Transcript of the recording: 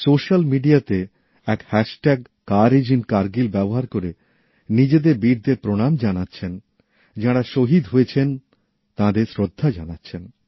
social মিডিয়াতে এক hashtag কারেজইনকারগিল ব্যবহার করে নিজেদের বীরদের প্রণাম জানাচ্ছে যাঁরা শহীদ হয়েছেন তাঁদের শ্রদ্ধা জানাচ্ছেন